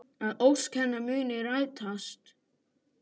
Að ósk hennar muni rætast.